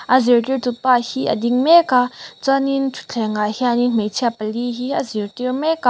a zirtirtu pa hi a ding meka chuanin thutthleng ah hianin hmeichhe pali hi a zirtir meka.